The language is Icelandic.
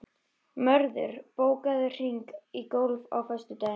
Mörður, bókaðu hring í golf á föstudaginn.